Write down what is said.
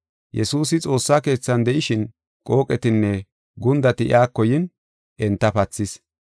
Yesuusi xoossa keethan de7ishin qooqetinne gundati iyako yin enta pathis.